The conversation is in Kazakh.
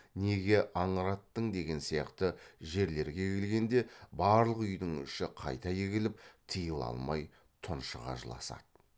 неге аңыраттың деген сияқты жерлерге келгенде барлық үйдің іші қайта егіліп тыйыла алмай тұншыға жыласады